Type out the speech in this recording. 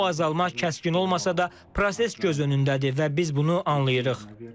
Bu azalma kəskin olmasa da, proses göz önündədir və biz bunu anlayırıq.